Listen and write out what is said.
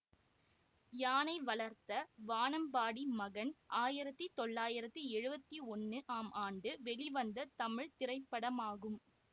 யானை வளர்த்த வானம்பாடி மகன் ஆயிரத்தி தொள்ளாயிரத்தி எழுவத்தி ஒன்னு ஆம் ஆண்டு வெளிவந்த தமிழ் திரைப்படமாகும்